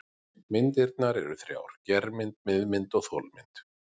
Myndir eru þrjár: germynd, miðmynd og þolmynd.